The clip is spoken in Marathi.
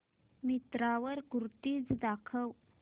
मिंत्रा वर कुर्तीझ दाखव